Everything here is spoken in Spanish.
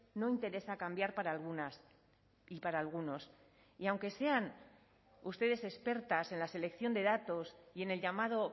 no interesa cambiar para algunas y para algunos y aunque sean ustedes expertas en la selección de datos y en el llamado